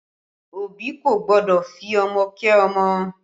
Òbí kò gbọ́dọ̀ fi ọmọ kẹ́ ọmọ